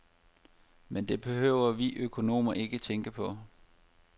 Men det behøver vi økonomer ikke tænke på.